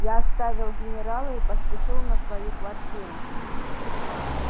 я оставил генерала и поспешил на свою квартиру